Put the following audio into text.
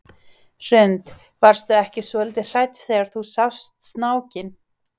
Hrund: Varstu ekki svolítið hrædd þegar þú sást snákinn?